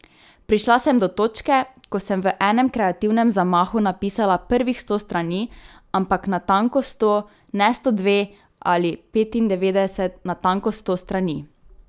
Prišla sem do točke, ko sem v enem kreativnem zamahu napisala prvih sto strani, ampak natanko sto, ne sto dve ali petindevetdeset, natanko sto strani.